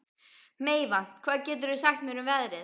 Meyvant, hvað geturðu sagt mér um veðrið?